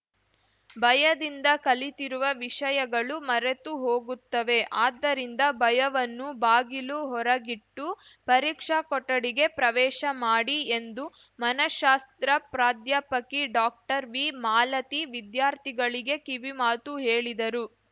ಭಯದಿಂದ ಕಲಿತಿರುವ ವಿಷಯಗಳು ಮರೆತು ಹೋಗುತ್ತವೆ ಆದ್ದರಿಂದ ಭಯವನ್ನು ಬಾಗಿಲು ಹೊರಗಿಟ್ಟು ಪರೀಕ್ಷಾ ಕೊಠಡಿಗೆ ಪ್ರವೇಶ ಮಾಡಿ ಎಂದು ಮನಶಾಸ್ತ್ರ ಪ್ರಾಧ್ಯಾಪಕಿ ಡಾಕ್ಟರ್ವಿಮಾಲತಿ ವಿದ್ಯಾರ್ಥಿಗಳಿಗೆ ಕಿವಿಮಾತು ಹೇಳಿದರು